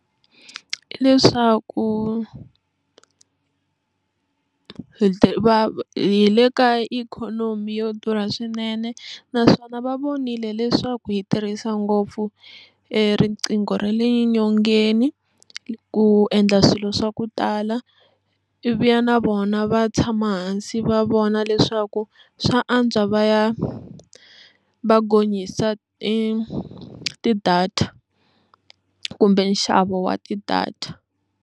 Hi leswaku hi le ka ikhonomi yo durha swinene naswona va vonile leswaku hi tirhisa ngopfu riqingho ra le nyongeni ku endla swilo swa ku tala ivi ya na vona va tshama hansi va vona leswaku swa antswa va ya va gonyisa ti-data kumbe nxavo wa ti-data.